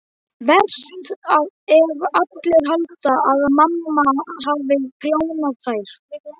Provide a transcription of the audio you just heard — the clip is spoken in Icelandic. Verst ef allir halda að mamma hafi prjónað þær.